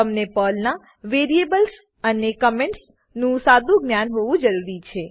તમને પર્લનાં વેરિએબલ્સ વેરીએબલો અને કમેન્ટ્સ કમેંટો નું સાદું જ્ઞાન હોવું જરૂરી છે